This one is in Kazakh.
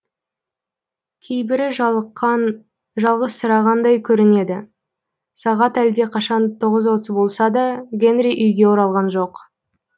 кейбірі жалыққан жалғызсырағандай көрінеді сағат әлде қашан тоғыз отыз болса да гэнри үйге оралған жоқ